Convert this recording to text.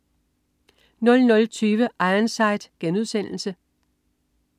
00.20 Ironside*